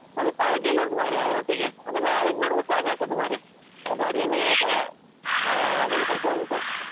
ಮತ್ತೆ party ಎಲ್ಲ ಉಂಟು ಮರ್ರೆ ಅದರೊಟ್ಟಿಗೆ ಅದೆಲ್ಲಾ arrange ಮಾಡುವಾಗ ಸಾಕಾಗ್ತದೆ ಮಾರೆ ಹಾ ಅದೆಲ್ಲಾ ಸ್ವಲ್ಪ ಉಂಟು.